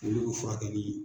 Olu bɛ fura kɛ.